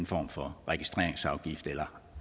form for registreringsafgift eller